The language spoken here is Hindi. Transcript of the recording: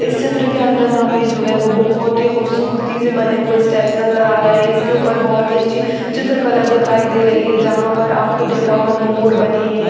इस चित्र के अंदर हमे जो है वो बहोत ही खूबसूरती से बने स्टेप्स नजर आ रहे है इसके उपर बहोत ही अच्छी चित्र कला दिखाई दे रही है जहा पर आपको दिख रहा होगा मोर बने है।